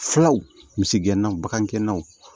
Filaw misigɛnnaw bagankɛnɛnw